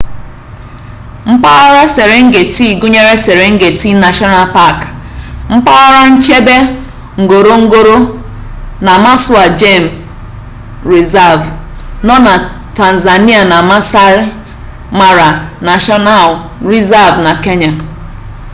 mpaghara serengeti gụnyere serengeti nashọnal pak mpaghara nchebe ngorongoro na maswa gem rịzav nọ na tanzania na maasai mara nashọnal rịzav na kenya